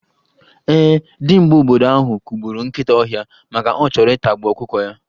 Ee, dimgba obodo ahụ kụgburu nkịta ọhịa maka ọ chọrọ ịtagbu ọkụkọ ya.